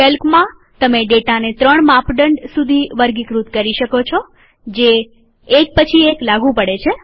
કેલ્કમાંતમે ડેટાને ત્રણ માપદંડ સુધી વર્ગીકૃત કરી શકો છોજે એક પછી એક લાગુ પડે છે